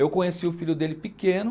Eu conheci o filho dele pequeno.